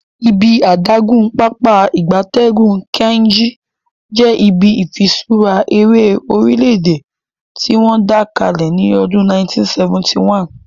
Ibi adagun Pápá ìgbatẹ́gùn Kainji je ibi ifiṣura ere orile-ede tiwon da kale ni odun 1971